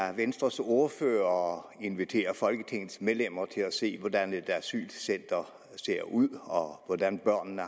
af venstres ordfører at invitere folketingets medlemmer til at se hvordan et asylcenter ser ud og hvordan børnene